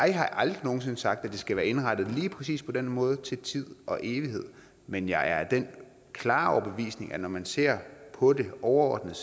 jeg har aldrig nogen sinde sagt at det skal være indrettet lige præcis på den måde til tid og evighed men jeg er af den klare overbevisning at når man ser på det overordnet